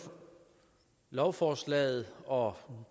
lovforslaget og